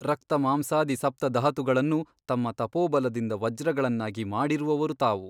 ರಕ್ತಮಾಂಸಾದಿ ಸಪ್ತಧಾತುಗಳನ್ನು ತಮ್ಮ ತಪೋಬಲದಿಂದ ವಜ್ರಗಳನ್ನಾಗಿ ಮಾಡಿರುವವರು ತಾವು.